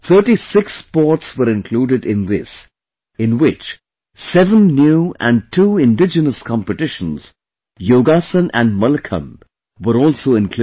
36 sports were included in this, in which, 7 new and two indigenous competitions, Yogasan and Mallakhamb were also included